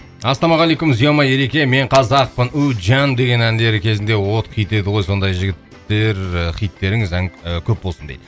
ассалаумағалейкум зема ереке мен қазақпын үмітжан деген әндері кезінде от кетеді ғой сондай жігіттер ііі хиттеріңіз ән і көп болсын дейді